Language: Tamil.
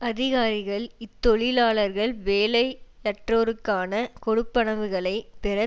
அதிகாரிகள் இத்தொழிலாளர்கள் வேலையற்றோருக்கான கொடுப்பனவுகளைப் பெற